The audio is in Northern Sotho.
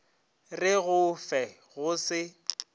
re go fe go se